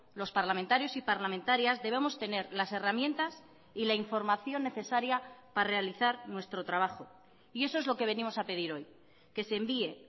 los parlamentarios y parlamentarias debemos tener las herramientas y la información necesaria para realizar nuestro trabajo y eso es lo que venimos a pedir hoy que se envíe